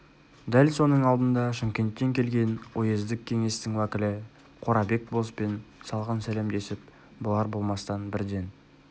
дәл соның алдында шымкенттен келген уездік кеңестің уәкілі қорабек болыспен салқын сәлемдесіп болар-болмастан бірден